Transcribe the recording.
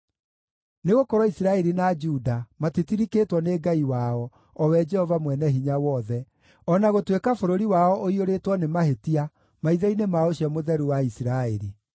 Nĩgũkorwo Isiraeli na Juda matitirikĩtwo nĩ Ngai wao, o we Jehova Mwene-Hinya-Wothe, o na gũtuĩka bũrũri wao ũiyũrĩtwo nĩ mahĩtia maitho-inĩ ma ũcio Mũtheru wa Isiraeli.